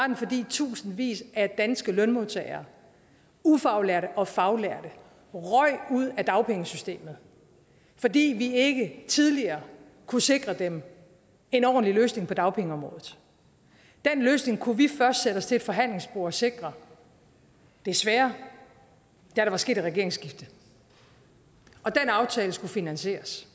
den fordi tusindvis af danske lønmodtagere ufaglærte og faglærte røg ud af dagpengesystemet fordi vi ikke tidligere kunne sikre dem en ordentlig løsning på dagpengeområdet den løsning kunne vi først sætte os til et forhandlingsbord og sikre desværre da der var sket et regeringsskifte og den aftale skulle finansieres